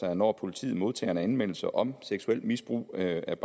at når politiet modtager en anmeldelse om seksuelt misbrug af et